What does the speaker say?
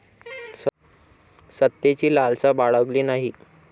सत्तेची लालसा बाळगली नाही.